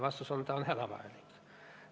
Vastus on, et see on hädavajalik.